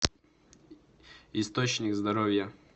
источник здоровья